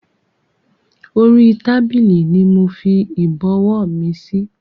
Orí tábìlì ni mofi Ìbọ̀wọ́ mi síí